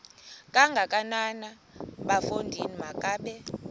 kangakanana bafondini makabe